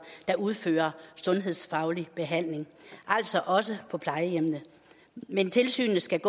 der udfører sundhedsfaglig behandling altså også på plejehjemmene men tilsynet skal